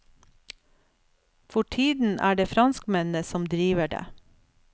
For tiden er det franskmennene som driver det.